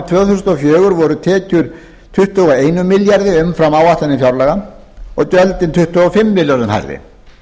þúsund og fjögur voru tekjur tuttugu og einum milljarði króna umfram áætlanir fjárlaga og gjöldin tuttugu og fimm milljörðum króna hærri